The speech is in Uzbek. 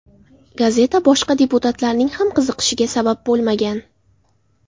Gazeta boshqa deputatlarning ham qiziqishiga sabab bo‘lmagan.